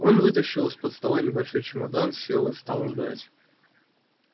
он вытащил из-под стола небольшой чемодан сел и стал ждать